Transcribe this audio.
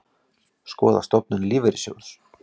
Skoða stofnun lífeyrissjóðs